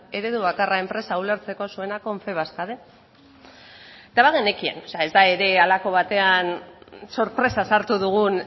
eredu bakarra enpresa ulertzeko zuena confebask den eta bagenekien o sea ez da ere halako batean sorpresaz hartu dugun